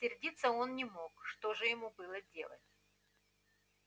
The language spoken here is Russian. сердиться он не мог что же ему было делать